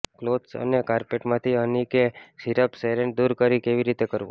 clothes અને કારપેટમાંથી honey કે સિરપ સ્ટેન્સ દૂર કેવી રીતે કરવો